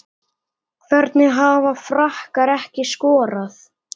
Hvernig hafa Frakkar ekki skorað?